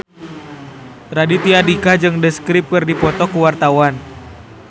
Raditya Dika jeung The Script keur dipoto ku wartawan